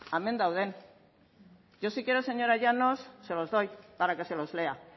hemen daude yo si quiere señora llanos se los doy para que se los lea